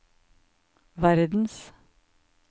verdens